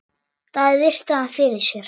Daði virti hann fyrir sér.